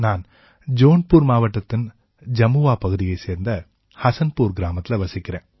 நான் ஜோன்பூர் மாவட்டத்தின் ஜமுவா பகுதியைச் சேர்ந்த ஹஸன்புர் கிராமத்தில வசிக்கறேன்